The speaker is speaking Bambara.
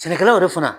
Sɛnɛkɛlaw yɛrɛ fana